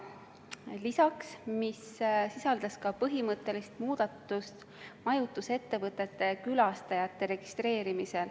See sisaldas ka põhimõttelist muudatust majutusettevõtete külastajate registreerimisel.